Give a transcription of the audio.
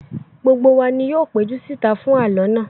Gbogbo wa ni yóò péjú sí ìta fún àlọ́ náà